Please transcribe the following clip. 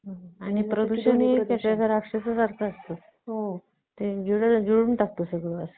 आणि प्रदूषण हे राक्षस असतं ते गिळून टाकतो सगळं